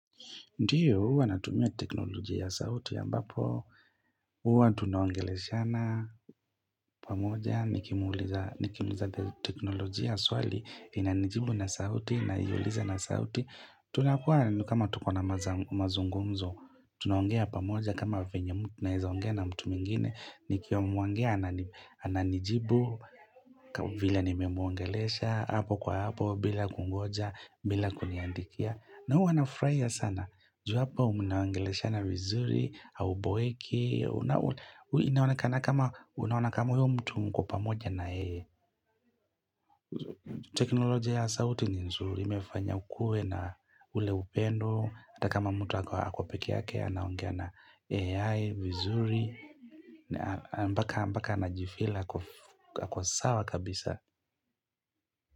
Ndiyo, huwa natumia teknolojia ya sauti ambapo, huwa tunaongeleshana pamoja, nikimuuliza teknolojia swali, inanijibu na sauti, ninaiuliza na sauti. Tunakuwa kama tuko na mazungumzo, tunuongea pamoja kama vyenye, tunaeza ongea na mtu mwingine, nikiongea ananijibu vila nimemuongelesha, hapo kwa hapo bila kungoja bila kuniandikia na huwa nafurahia sana. Juu hapo mnaongeleshana vizuri hauboeki inaonekana kama unaona kama huyo mtu mko pamoja na yeye teknolojia ya sauti ni nzuri imefanya kuwe na ule upendo hata kama mtu ako pekee yake anaongea na AI, vizuri mpaka mpaka anajifeel ako sawa kabisa.